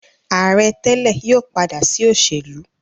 Aare tele yóò pada si oselu.